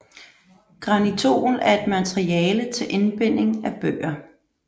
Granitol er et materiale til indbinding af bøger